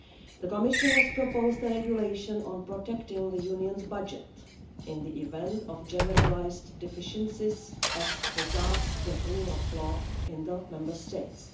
The Commission has proposed a regulation on protecting the Union's budget in the event of generalised deficiencies as regards the rule of law in the Member States.